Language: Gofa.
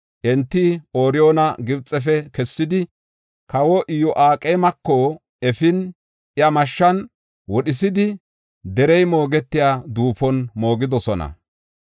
Enti Ooriyoona Gibxefe kessidi, kawa Iyo7aqeemeko efin, iya mashshan wodhisidi derey moogetiya duufon moogidosona.